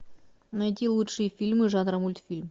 найди лучшие фильмы жанра мультфильм